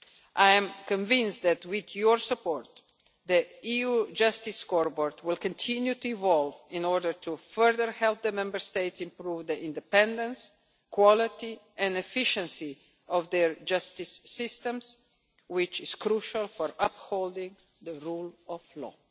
I am convinced that with your support the EU Justice Scoreboard will continue to evolve in order to further help the Member States improve the independence, quality and efficiency of their justice systems, which is crucial for upholding the rule of law.